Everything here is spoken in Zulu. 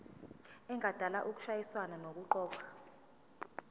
engadala ukushayisana nokuqokwa